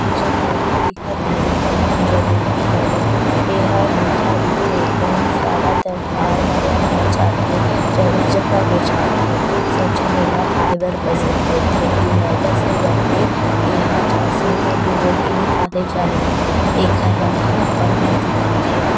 इ जो फोटो दिखत हे एकर नाम जलेबी हावे ए हा मीठा रहिथे बहुत सारा त्यौहार में बनाये जाथे जगह- जगह बेचाथे सब झन इ ला खाये बर पसंद करथे इ मैदा से बनथे एहा चाशनी में डुबो के निकाले जाथे एखर रंग ह ऑरेंज दिखत हेवे।